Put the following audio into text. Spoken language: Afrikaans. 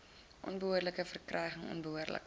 onbehoorlike verryking onbehoorlike